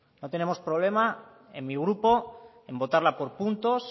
no tenemos problema en mi grupo en votarla por puntos